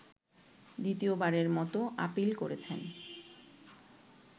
দ্বিতীয়বারের মতো আপীল করেছেন